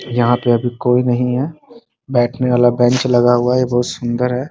यहाँ पर कोई नहीं है बैठने वाला बेंच लगा हुआ है ये बहुत सुन्दर है ।